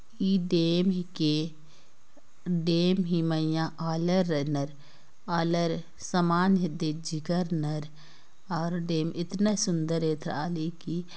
ई dam हिके dam हि मइया आलर रनर आलर समान हिदे हिजकरनर और डैम इतना सुंदर एथ्राली की --